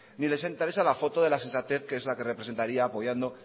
ni les interesa la foto de la sensatez que es la que representaría apoyando